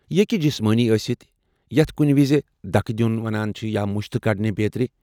یہ ہیٚکہ جسمٲنی ٲستھ یتھ کٔنہِ وِزِ دکہٕ دِیٚن، مُشتہٕ كڈنہِ بیترِ۔